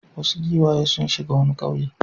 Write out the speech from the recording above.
Wasu giwaye sun shiga wani ƙauye.